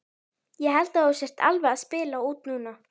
Ég held að þú sért alveg að spila út núna!